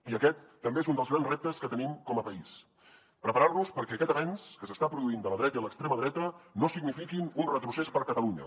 i aquest també és un dels grans reptes que tenim com a país preparar nos perquè aquest avenç que s’està produint de la dreta i l’extrema dreta no signifiquin un retrocés per a catalunya